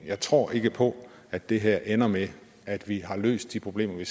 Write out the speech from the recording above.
jeg tror ikke på at det her ender med at vi har løst de problemer vi